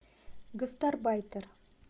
гастарбайтер